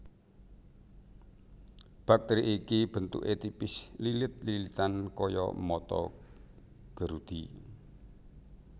Bakteri iki bentuké tipis lilit lilitan kaya mata gerudi